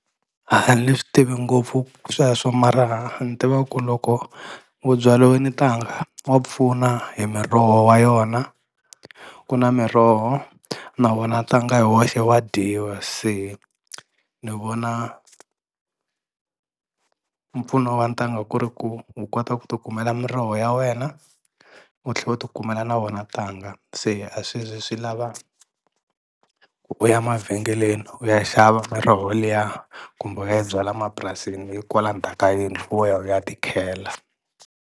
A ni swi tivi ngopfu sweswo mara ni tiva ku loko wo byaliwini ntanga wa pfuna hi miroho wa yona ku na miroho na wona ntanga hi woxe wa dyiwa se ni vona mpfuno wa ntanga ku ri ku u kota ku ti kumela miroho ya wena u tlhe u ti kumela na wona ntanga se a swi ze swi lava ku u ya mavhengeleni u ya xava miroho liya kumbe u ya byala mapurasini yi kwala ndzhaka yindlu wo ya u ya ti khela.